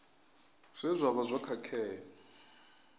zwe zwa vha zwo khakhea